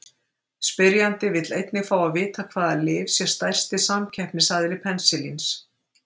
Spyrjandi vill einnig fá að vita hvaða lyf sé stærsti samkeppnisaðili penisilíns.